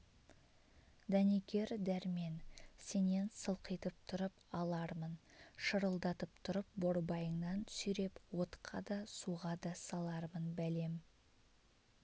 дәнекер дәрмен сенен сылқитып тұрып алармын шырылдатып тұрып борбайыңнан сүйреп отқа да суға да салармын бәлем